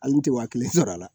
Hali tɛ wa kelen sɔrɔ a la